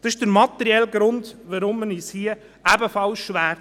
Das ist der materielle Grund, weshalb wir uns hier ebenfalls schwertun.